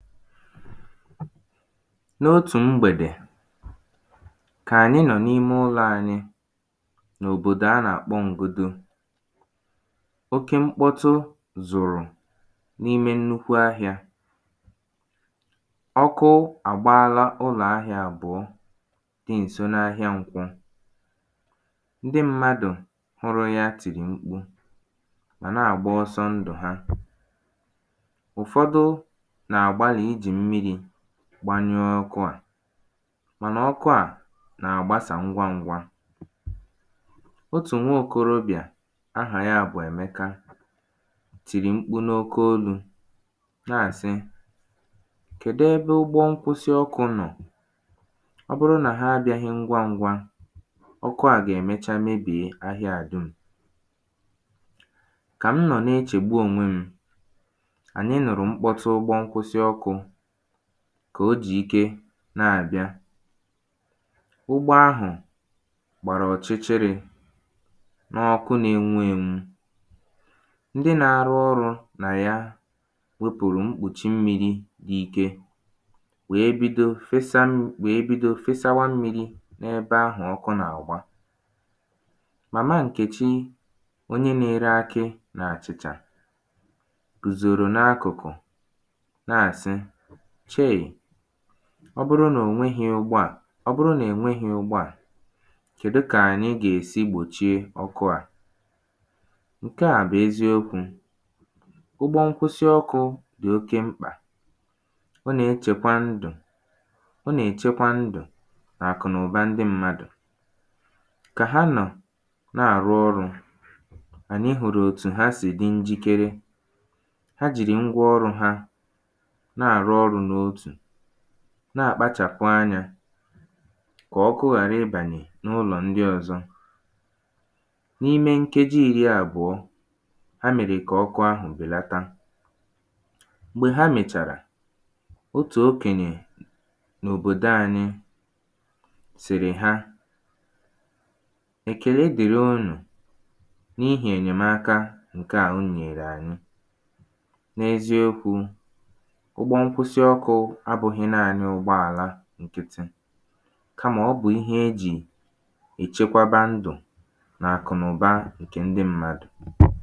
n’otù m̀gbèdè kà ànyị nọ̀ n’ime ụlọ̄ anyị n’òbòdò a nà-àkpọ Ngodo oke mkpọtụ zụrụ̀ n’ime nnukwu ahịā ọkụ àgbaala ụlọ̀ ahịā àbụọ dị ǹso n’ahịa n’nkwọ ndị mmadụ̀ hụrụ ya tìrì mkpu mà na-àgba ọsọ ndụ̀ ha ụ̀fọdụ nà-àgbalị̀ ijì m̀mirī gbanyụọ ọkụ à mànà ọkụ à nà-àgbasà ṅgwa ṅ̄gwā otù nwa okorobịà ahà ya bụ̀ Èmeka tìrì mkpu n’oke olū na-àsị kèdụ ebe ụgbọ ṅkwụsị ọkụ̄ nọ̀? ọ bụrụ nà ha abịāhī ṅgwa ṅ̄gwā ọkụ à gà-èmecha mebie ahịa à dum̀ kà m nọ̀ na-echègbu onwe m̄ ànyị nụ̀rụ̀ mkpọtụ ụgbọ ṅkwụsị ọkụ̄ kà o jì ike na-àbịa ụgbọ ahụ̀ gbàrà ọchịchịrī n’ọkụ nā-enwu ēnwū ndị na-arụ ọrụ̄ nà ya wepùrù mkpùchi mmīrī n’ike wèe bido fesa mm wèe bido fesawa mmīrī n’ebe ahụ̀ ọkụ nà-àgba Màma Ǹkèchi Onye nā-ere akị nà àchịcha gùzòrò n’akụ̀kụ̀ na-àsị chei! ọ bụrụ nà ò nwehī̄ ụgbọ à ọ bụrụ nà è nwehī ụgbọ à kèdu kà ànyi gà-èsi gbòchie ọkụ à ǹke à bụ̀ eziokwū ụgbọ ṅkwụsị ọkụ dị̀ oke mkpà ọ nà-echèkwa ndụ̀ ọ nà-èchekwa ndụ̀ nà àkụ̀ nà ụ̀ba ndị mmadụ̀ kà ha nọ̀ na-àrụ ọrụ̄ ànyị hụ̀rụ̀ òtù ha sì dị njikere ha jìrì ṅgwa ọrū̩ ha na-àrụ ọrụ̄ n’otù na-àkpachàpụ̣̀ anyā kà ọkụ ghàra ịbànyè n’ụlọ̀ ndi ọ̄zọ̄ n’ime ṅkeji iri àbụ̀o ha mèrè kà ọkụ ahụ̀ bèlata m̀gbè ha mèchàrà otù okènyè n’òbòdo anyị sị̀rị̀ ha èkèle dị̀ri unù n’ihì ènyèm̀aka ṅ̀ke à unū nyèèrè ànyị n’eziokwū ụgbọ ṅkwụsị ọkụ̄ abụ̄hị̣̄ naānị ụgbọàla ṅkịtị kamà ọ bụ̀ ihe e jì èchekwaba ndụ̀ nà àkụ̀nàụ̀ba ṅ̀ke ndị mmadụ̀